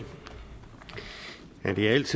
er ikke